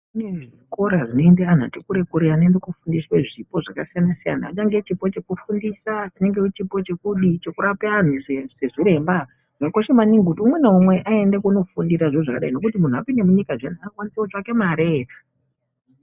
Kunezvikora zvinoenda anhu ati kure kure anoenda kofundwe zvipo zvakasiyana siyana. Chingave chipo chekufundisa ,chingave chipo chekudii chekurape anhu sezviremba, zvakakosha maningi kuti umwe naumwe ayende kunofundira zviro zvakadai nekut munhu apinde munyika zviyani akwanise kutsvake mare.